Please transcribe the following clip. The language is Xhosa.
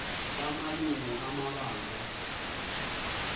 kama lungu ebandla